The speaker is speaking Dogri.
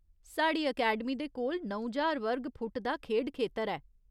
साढ़ी अकैडमी दे कोल नौ ज्हार वर्ग फुट दा खेढ खेतर ऐ।